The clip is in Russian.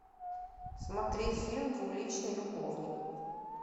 смотреть фильм двуличный любовник